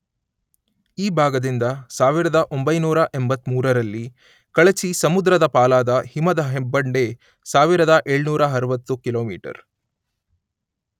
ಈ ಭಾಗದಿಂದ ಸಾವಿರದ ಒಂಬೈನೂರ ಎಂಬತ್ತ ಮೂರರಲ್ಲಿ ಕಳಚಿ ಸಮುದ್ರದ ಪಾಲಾದ ಹಿಮದ ಹೆಬ್ಬಂಡೆ ಸಾವಿರದ ಏಳ್ನೂರ ಆರುವತ್ತು ಕಿಲೋಮೀಟರ್